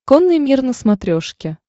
конный мир на смотрешке